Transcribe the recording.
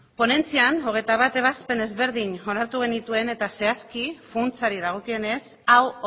ponentzian hogeita bat ebazpen ezberdin onartu genituen eta zehazki funtsari dagokionez hau